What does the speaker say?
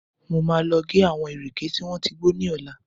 Mo máa lọ gé àwọn ìrèké tí wọ́n ti gbó ní ọ̀la